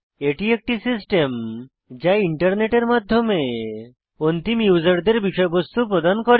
এটি একটি সিস্টেম যা ইন্টারনেটের মাধ্যমে অন্তিম ইউসারদের বিষয়বস্তু প্রদান করে